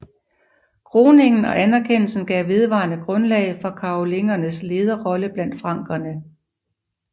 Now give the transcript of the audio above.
Kroningen og anerkendelsen gav vedvarende grundlag for karolingernes lederrolle blandt frankerne